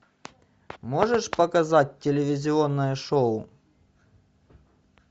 можешь показать телевизионное шоу